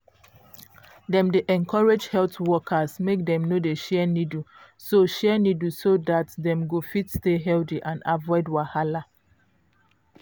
dem dey encourage health workers make dem no dey share needle so share needle so dat dem go fit stay healthy and avoid wahala.